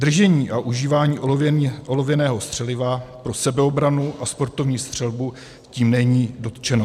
Držení a užívání olověného střeliva pro sebeobranu a sportovní střelbu tím není dotčeno.